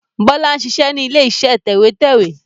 Bọlá ń ṣiṣẹ́ ni ilé iṣẹ́ tẹ̀wẹ́tẹ́wẹ́